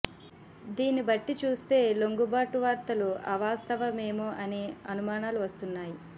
దీన్ని బట్టి చూస్తే లొంగుబాటు వార్తలు అవాస్తవమేమో అనే అనుమానాలు వస్తున్నాయి